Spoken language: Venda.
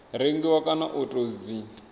rengiwa kana u tou dzi